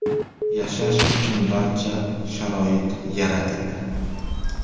Yashash uchun barcha sharoit yaratildi.